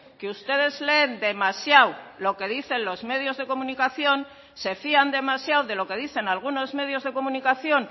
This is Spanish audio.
que ustedes leen demasiado lo que dicen los medios de comunicación se fían demasiado de lo que dicen algunos medios de comunicación